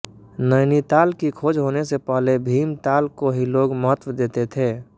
नैनीताल की खोज होने से पहले भीमताल को ही लोग महत्व देते थे